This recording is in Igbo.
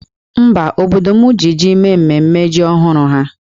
Mba, obodo m ji jí mee mmemme ji ọhụrụ ha